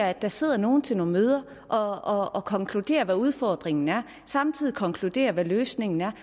at der sidder nogle til nogle møder og konkluderer hvad udfordringen er og samtidig konkluderer hvad løsningen er